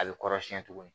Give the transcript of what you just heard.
A bɛ kɔrɔsiyɛn tuguni